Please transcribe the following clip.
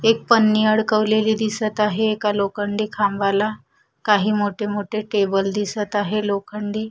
एक पन्नी अडकवलेली दिसत आहे एका लोखंडी खांबाला काही मोठे मोठे टेबल दिसत आहे लोखंडी.